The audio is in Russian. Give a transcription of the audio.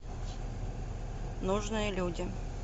нужные люди